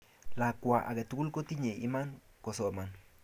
Lakwa aketugul kotinye iman kosoman